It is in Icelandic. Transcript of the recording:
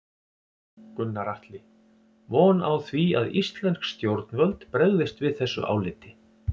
Gunnar Atli:. von á því að íslensk stjórnvöld bregðist við þessu áliti?